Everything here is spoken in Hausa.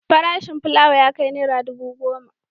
Farashin fulawa ya kai naira dubu goma.